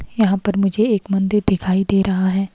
यहां पर मुझे एक मंदिर दिखाई दे रहा है।